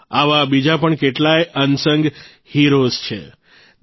આવા બીજા પણ કેટલાય અનસંગ heroesઅસ્તુત્ય નાયકો છે